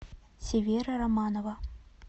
севера романова